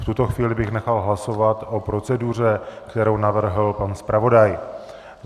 V tuto chvíli bych nechal hlasovat o proceduře, kterou navrhl pan zpravodaj.